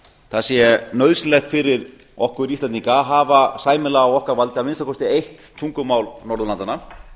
það sé nauðsynlegt fyrir okkur íslendinga að af sæmilega á okkar valdi að minnsta kosti eitt tungumál norðurlandanna